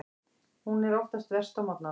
Hún er oftast verst á morgnana.